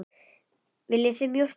Viljið þið mjólk og sykur?